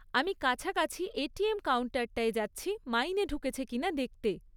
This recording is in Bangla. আমি কাছাকাছি এটিএম কাউন্টারটায় যাচ্ছি মাইনে ঢুকেছে কিনা দেখতে।